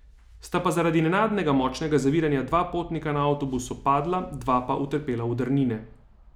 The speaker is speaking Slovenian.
Sta pa zaradi nenadnega močnega zaviranja dva potnika na avtobusu padla, dva pa utrpela udarnine.